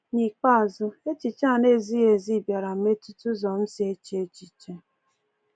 N’ikpeazụ, echiche a na-ezighị ezi bịara metụta ụzọ m si eche echiche.